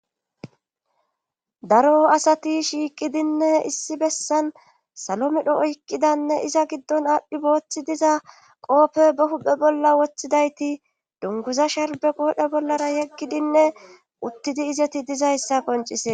Daro asati shiiqidinne issi bessan salo midho oykqidanne iza giddon aadhdhi booththi diza qoope ba huphe bolla woththidayti dunguza sharbe goodhe bollara yeggidinne uttidi izeti dizayssa qoncisee